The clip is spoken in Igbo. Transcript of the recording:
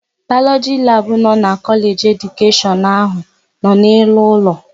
Bayọlọjị labụ nọ na Kọleji nke Edukeshọn áhụ̀ nọ n'elu ụlọ.